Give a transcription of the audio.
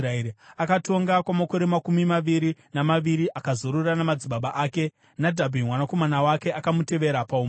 Akatonga kwamakore makumi maviri namaviri akazorora namadzibaba ake. Nadhabhi mwanakomana wake akamutevera paumambo.